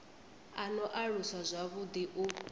a no aluswa zwavhuḓi u